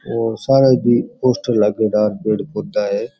ओ सामने पोस्टर लगेड़ा पेड़ पौधा है।